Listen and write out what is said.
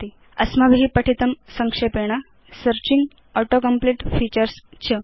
अस्माभि पठितं संक्षेपेण सर्चिंग auto कम्प्लीट फीचर्स् च